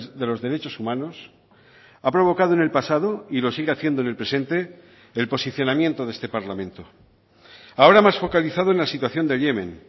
de los derechos humanos ha provocado en el pasado y lo sigue haciendo en el presente el posicionamiento de este parlamento ahora más focalizado en la situación de yemen